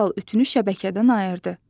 Dərhal ütünü şəbəkədən ayırdı.